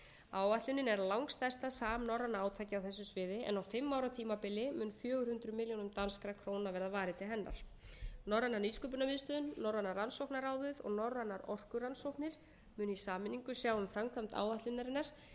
áætlunin er langstærsta samnorræna átakið á þessu sviði en á fimm ára tímabili mun fjögur hundruð milljónum danskra króna verða varið til hennar norræna nýsköpunarmiðstöðin norræna rannsókna ráðið og norrænar orkurannsóknir munu í sameiningu sjá um framkvæmd áætlunarinnar en